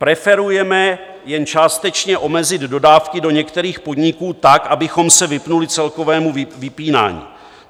Preferujeme jen částečně omezit dodávky do některých podniků tak, abychom se vyhnuli celkovému vypínání.